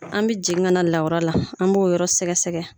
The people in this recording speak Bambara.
An bi jigin ka na lawura la an b'o yɔrɔ sɛgɛ sɛgɛ.